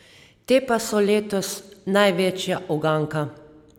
Te pa so letos največja uganka.